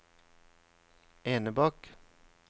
Enebakk